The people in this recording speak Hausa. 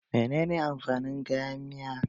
Menene amfanin kayan miya?